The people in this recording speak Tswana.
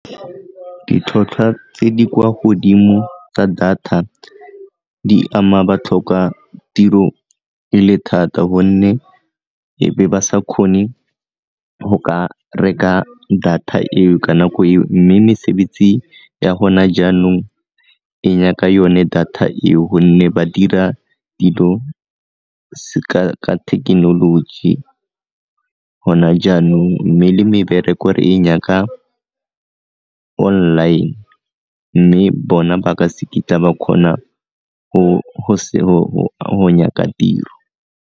Ditlhotlhwa tse di kwa godimo tsa data di ama batlhokatiro e le thata gonne ebe ba sa kgone go ka reka data eo ka nako eo mme mesebetsi ya gona jaanong e nyaka yone data eo gonne ba dira dilo ka thekenoloji gona jaanong mme le mebereko gore re e nyaka online mme bona ba ka ba kgona go nyaka tiro.